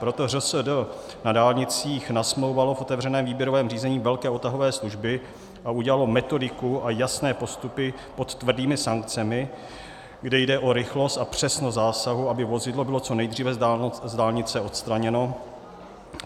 Proto ŘSD na dálnicích nasmlouvalo v otevřeném výběrovém řízení velké odtahové služby a udělalo metodiku a jasné postupy pod tvrdými sankcemi, kde jde o rychlost a přesnost zásahu, aby vozidlo bylo co nejdříve z dálnice odstraněno.